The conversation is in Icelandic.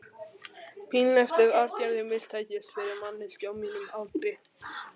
Pínlegt ef aðgerðin mistækist, fyrir manneskju á mínum aldri.